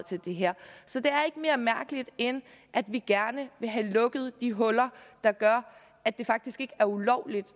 til det her så det er ikke mere mærkeligt end at vi gerne vil have lukket de huller der gør at det faktisk ikke er ulovligt